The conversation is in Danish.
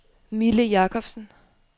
Mille Jakobsen